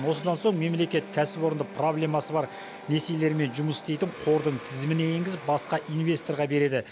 осыдан соң мемлекет кәсіпорынды проблемасы бар несиелермен жұмыс істейтін қордың тізіміне енгізіп басқа инвесторға береді